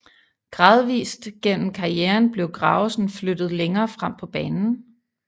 Gradvist gennem karrieren blev Gravesen flyttet længere frem på banen